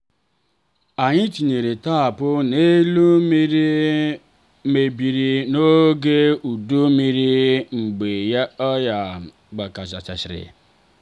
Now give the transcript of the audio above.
anyị tinyere tapu n'elu ụlọ mmiri mebiri n'oge udu mmiri mgbe oyi gbazasiri.